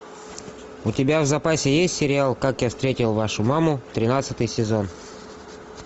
у тебя в запасе есть сериал как я встретил вашу маму тринадцатый сезон